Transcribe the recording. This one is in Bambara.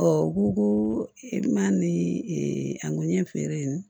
u ko ko i ma ni a ko ɲɛfɛrɛ ye